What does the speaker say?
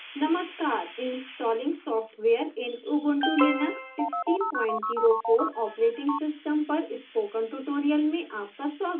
नमस्कार installing software in ubuntu linux 1604 operating system पर spoken tutorial में आपका स्वागत है